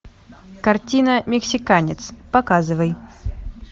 картина мексиканец показывай